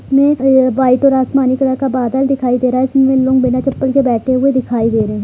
इसमें अ-वाइट और आसमानी कलर का बादल दिखाई दे रहा है इसमें लोग बिना चप्पल के बैठे हुए दिखाई दे रहें हैं।